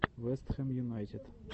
вест хэм юнайтед